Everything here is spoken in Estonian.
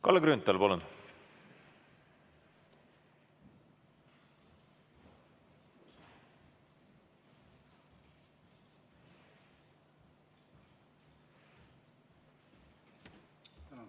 Kalle Grünthal, palun!